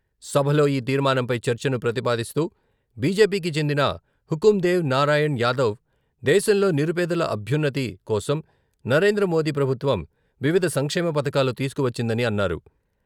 సభలో ఈ తీర్మానంపై చర్చను ప్రతిపాదిస్తూ బిజెపికి చెందిన హుకుందేవ్ నారాయణ్ యాదవ్ దేశంలో నిరుపేదల అభ్యున్నతి కోసం నరేంద్రమోదీ ప్రభుత్వం వివిధ సంక్షేమపథకాలు తీసుకువచ్చిందని అన్నారు.